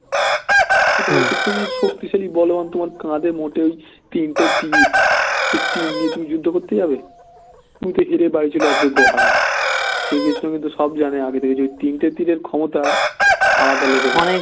তুমি শক্তিশালী বলবান তোমার কাঁধে মোটে এই তিনটে তীর এই তীর নিয়ে তুমি যুদ্ধ করতে যাবে তুমি তো হেরে বাড়ি চলে আসবে গো হারান শ্রীকৃষ্ণ কিন্তু সব জানে ওই তিনটে তীরের ক্ষমতা আলাদা level এর